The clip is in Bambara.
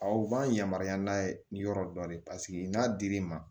Aw b'an yamaruya n'a ye nin yɔrɔ dɔn de paseke n'a dir'i ma